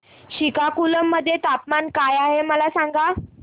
श्रीकाकुलम मध्ये तापमान काय आहे मला सांगा